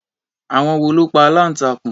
Àwọn wo ló pa aláǹtakùn?